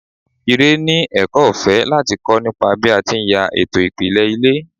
Ire ni ẹ̀kọ́ ọ̀fẹ́ láti kọ́ nípa bí a ti ń ya ètò ìpìlẹ̀ ilé.